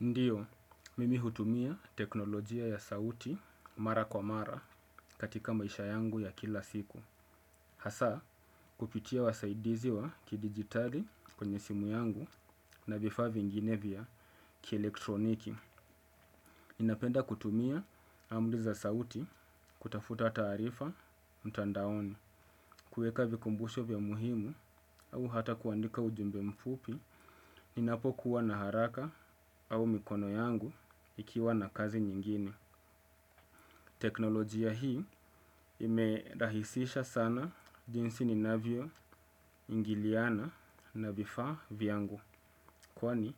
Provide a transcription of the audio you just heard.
Ndiyo, mimi hutumia teknolojia ya sauti mara kwa mara katika maisha yangu ya kila siku. Hasa kupitia wasaidizi wa ki digitali kwenye simu yangu na vifaa vingine vya ki elektroniki. Ninapenda kutumia amri za sauti kutafuta taarifa mtandaoni. Kuweka vikumbusho vya muhimu au hata kuandika ujumbe mfupi ni napo kuwa na haraka au mikono yangu ikiwa na kazi nyingine. Teknolojia hii ime rahisisha sana jinsi ninavyo ingiliana na vifaa vyangu. Kwani